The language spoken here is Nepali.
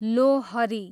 लोहरी